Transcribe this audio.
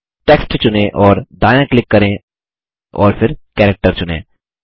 text चुनें और दायाँ क्लिक करें और फिर कैरेक्टर चुनें